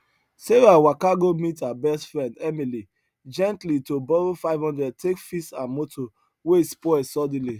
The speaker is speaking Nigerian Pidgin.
sarah waka go meet her best friend emily gently to borrow 500 take fix her motor wey spoil suddenly